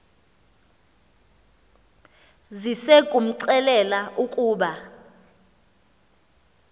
size kumxelela ukuba